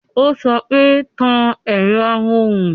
Ó sọ pé "Tan ẹ̀rọ amóhùn"